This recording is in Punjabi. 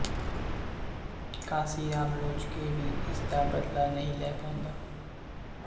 ਘਾਸੀਰਾਮ ਲੋਚਕੇ ਵੀ ਇਸ ਦਾ ਬਦਲਾ ਨਹੀਂ ਲੈ ਪਾਉਂਦਾ